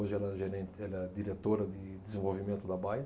Hoje ela é gerente, ela é diretora de desenvolvimento da Bayer.